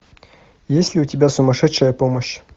есть ли у тебя сумасшедшая помощь